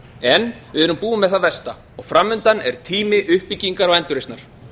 en við erum búin með það versta og framundan er tími uppbyggingar og endurreisnar